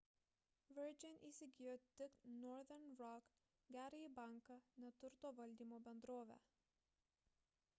virgin įsigijo tik northern rock gerąjį banką ne turto valdymo bendrovę